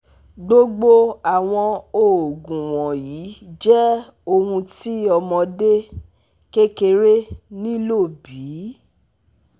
gbogbo awọn oogun wọnyi jẹ ohun ti ọmọde kekere nilo bi?